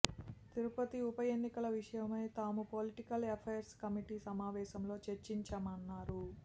తిరుపతి ఉప ఎన్నిక విషయమై తాము పొలిటికల్ ఎఫైర్స్ కమిటీ సమావేశంలో చర్చించామన్నారు